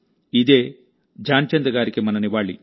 ఇదే ధ్యాన్ చంద్ గారికి మన నివాళి